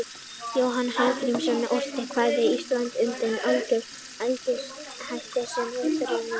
Jónas Hallgrímsson orti kvæðið Ísland undir elegískum hætti sem upprunninn er í Grikklandi.